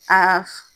Aa